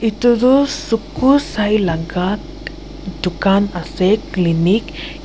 tu tu suku saila tt dukan ase clinic yat--